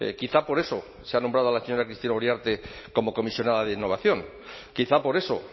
quizá por eso se ha nombrado a la señora cristina uriarte como comisionada de innovación quizá por eso